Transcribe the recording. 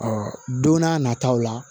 don n'a nataw la